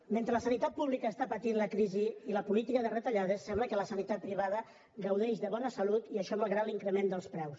mentre la sanitat pública està patint la crisi i la política de retallades sembla que la sanitat privada gaudeix de bona salut i això malgrat l’increment dels preus